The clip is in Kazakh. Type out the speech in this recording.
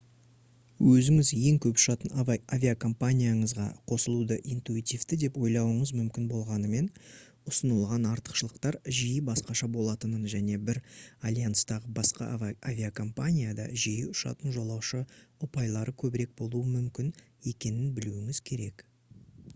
өзіңіз ең көп ұшатын авиакомпанияңызға қосылуды интуитивті деп ойлауыңыз мүмкін болғанымен ұсынылатын артықшылықтар жиі басқаша болатынын және бір альянстағы басқа авиакомпанияда жиі ұшатын жолаушы ұпайлары көбірек болуы мүмкін екенін білуіңіз керек